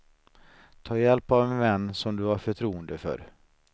Ta hjälp av en vän som du har förtroende för.